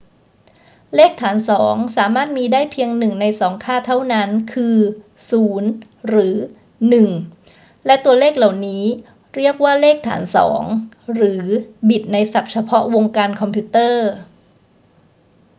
เลขฐานสองสามารถมีได้เพียงหนึ่งในสองค่าเท่านั้น คือ 0 หรือ 1 และตัวเลขเหล่านี้เรียกว่าเลขฐานสอง หรือบิตในศัพท์เฉพาะวงการคอมพิวเตอร์